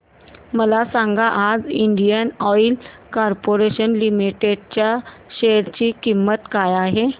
मला सांगा आज इंडियन ऑइल कॉर्पोरेशन लिमिटेड च्या शेअर ची किंमत काय आहे